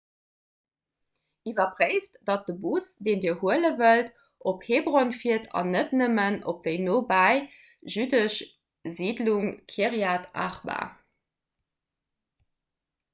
iwwerpréift datt de bus deen dir huele wëllt op hebron fiert an net nëmmen op déi nobäi jüddesch siidlung kirjat arba